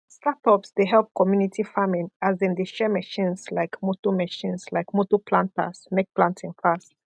startups dey help community farming as dem de share machines like motor machines like motor planters make planting fast